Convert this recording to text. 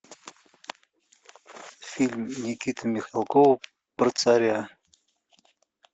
фильм никиты михалкова про царя